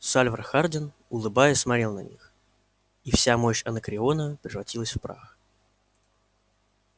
сальвор хардин улыбаясь смотрел на них и вся мощь анакреона превратилась в прах